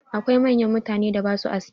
Akwai manyan mutanen da ba sua aski.